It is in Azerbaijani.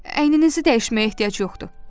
Əyninizi dəyişməyə ehtiyac yoxdur.